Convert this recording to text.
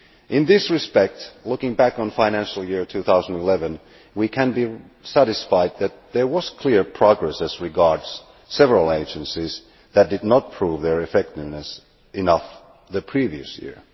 In this respect, looking back on the financial year 2011, we can be satisfied that there was clear progress as regards several agencies that had not proved their effectiveness enough the previous year.